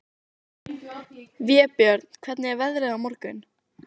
Vébjörn, hvernig verður veðrið á morgun?